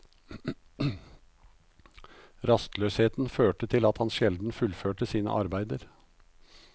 Rastløsheten førte til at han sjelden fullførte sine arbeider.